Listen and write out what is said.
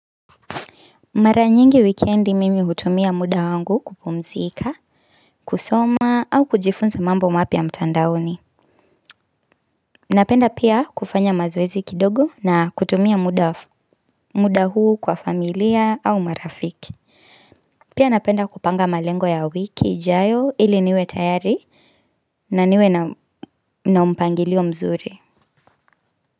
Mara nyingi wikendi mimi hutumia muda wangu kupumzika, kusoma au kujifunza mambo mapya mtandaoni. Napenda pia kufanya mazoezi kidogo na kutumia muda huu kwa familia au marafiki. Pia napenda kupanga malengo ya wiki ijayo ili niwe tayari na niwe na, na mpangilio mzuri.